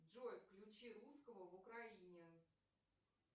джой включи русского в украине